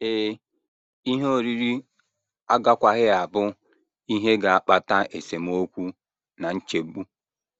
Ee, ihe oriri agakwaghị abụ ihe ga - akpata esemokwu na nchegbu.